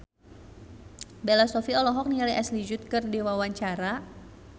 Bella Shofie olohok ningali Ashley Judd keur diwawancara